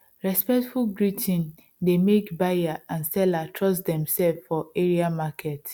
respectful greet dey make buyer and seller trust dem sef for area market